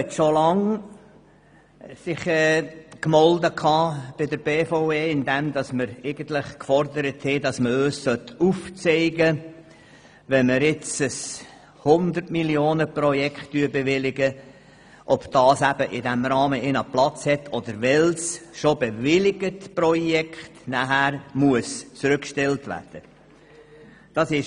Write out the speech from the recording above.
Die FiKo hat sich schon lange bei der BVE gemeldet und gefordert, dass man uns aufzeigen soll, ob zum Beispiel ein 100-MillionenProjekt, welches wir bewilligen, in diesem Rahmen Platz hat, oder welches schon bewilligte Projekt allenfalls zurückgestellt werden muss.